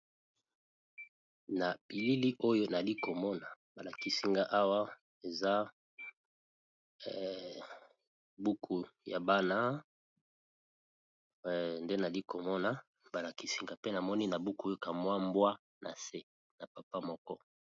na bilili oyo nali komona balakisinga awa eza buku ya bana nde nali komona balakisinga pe namoni na buku yoka mwa mbwa na se na papa moko